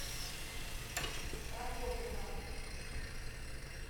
прокофьева